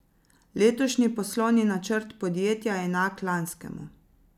Letošnji poslovni načrt podjetja je enak lanskemu.